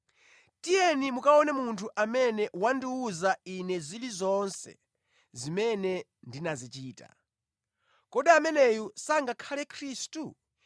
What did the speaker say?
“Tiyeni mukaone munthu amene wandiwuza ine zilizonse zimene ndinazichita. Kodi ameneyu sangakhale Khristu?”